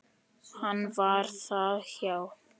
Hann var það, já.